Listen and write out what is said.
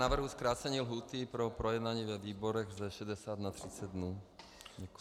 Navrhuji zkrácení lhůty pro projednání ve výborech ze 60 na 30 dnů.